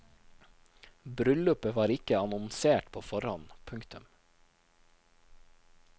Bryllupet var ikke annonsert på forhånd. punktum